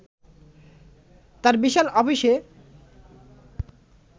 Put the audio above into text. তাঁর বিশাল অফিসে